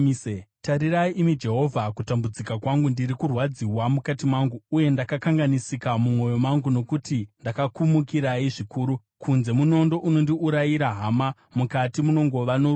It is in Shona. “Tarirai, imi Jehovha kutambudzika kwangu! Ndiri kurwadziwa mukati mangu, uye ndakakanganisika mumwoyo mangu, nokuti ndakakumukirai zvikuru. Kunze, munondo unondiurayira hama; mukati, munongova norufu.